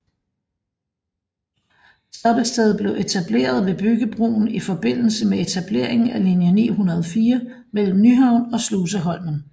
Stoppestedet blev etableret ved Bryggebroen i forbindelse med etableringen af linje 904 mellem Nyhavn og Sluseholmen